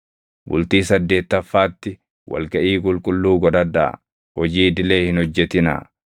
“ ‘Bultii saddeettaffaatti wal gaʼii qulqulluu godhadhaa; hojii idilee hin hojjetinaa.